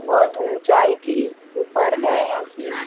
बहुत ऊंचाई की ऊपर है इसमें --